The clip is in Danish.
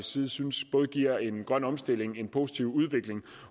side synes både giver en grøn omstilling og en positiv udvikling